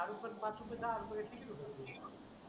अरे पण पाच रुपये दहा रुपये तिकीट होत एक